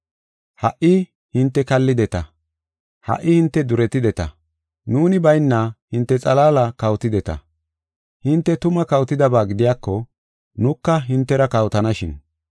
Ha77i hinte kallideta. Ha77i hinte duretideta. Nuuni bayna hinte xalaala kawotideta. Hinte tuma kawotidaba gidiyako, nuka hintera kawotanashin.